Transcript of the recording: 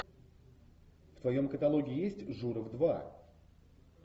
в твоем каталоге есть журов два